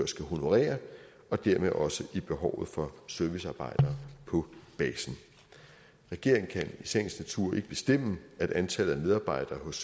skal honorere og dermed også i behovet for servicearbejdere på basen regeringen kan i sagens natur ikke bestemme at antallet af medarbejdere hos